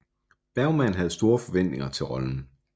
Bergman havde store forventninger til rollen